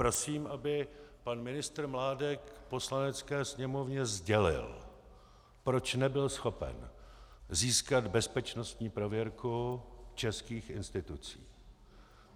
Prosím, aby pan ministr Mládek Poslanecké sněmovně sdělil, proč nebyl schopen získat bezpečnostní prověrku českých institucí.